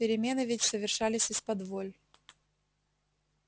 перемены ведь совершались исподволь